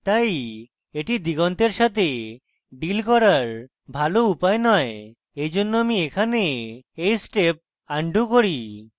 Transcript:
তাই এটি দিগন্তের সাথে deal করার ভালো উপায় নয় এইজন্য আমি এখানে এই step আনডু করি